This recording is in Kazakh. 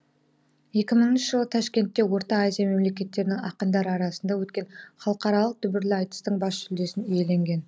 екі мыңыншы жылы ташкентте орта азия мемлекеттерінің ақындары арасында өткен халықаралық дүбірлі айтыстың бас жүлдесін иеленген